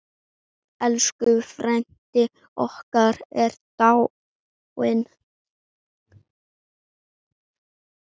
Elsku frændi okkar er dáinn.